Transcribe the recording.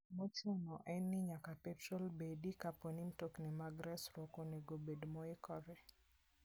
Mochuno en ni nyaka petrol bedi kapo ni mtokni mag resruok onego obed moikore.